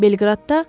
Belqradda.